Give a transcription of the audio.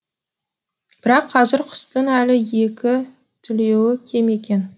бірақ қазір құстың әлі екі түлеуі кем екен